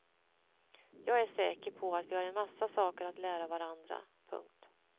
Jag är säker på att vi har en massa saker att lära varandra. punkt